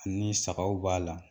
Ni sagaw b'a la